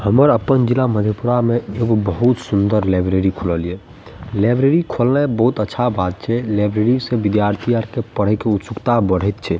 हमर अपन जिला मधेपुरा में एगो बहुत सूंदर लाइब्रेरी खुलल ये लाइब्रेरी खोलना बहुत अच्छा बात छै लाइब्रेरी से विद्यार्थी आर के पढ़े के उत्सुकता बढ़ेएत छै।